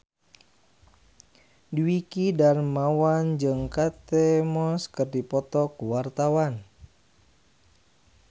Dwiki Darmawan jeung Kate Moss keur dipoto ku wartawan